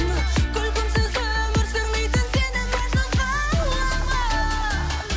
күлкімсіз өмір сүрмейтін сені мәжнүн қыламын